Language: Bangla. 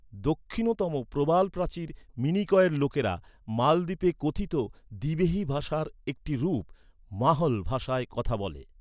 দক্ষিণতম প্রবালপ্রাচীর, মিনিকয়ের লোকেরা মালদ্বীপে কথিত দিবেহি ভাষার একটি রূপ, মাহ্‌ল ভাষায় কথা বলে।